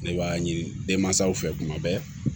Ne b'a ɲini denmansaw fɛ kuma bɛɛ